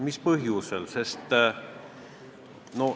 Mis põhjusel?